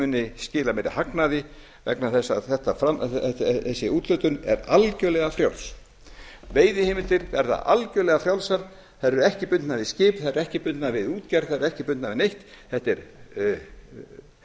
muni skila meiri hagnaði vegna þess að þessi úthlutun er algerlega frjáls veiðiheimildir verða algerlega frjálsar þær eru ekki bundnar við skip þær eru ekki bundnar við útgerð þær eru ekki bundnar við neitt þetta er